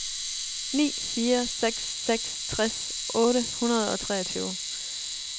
ni fire seks seks tres otte hundrede og treogtyve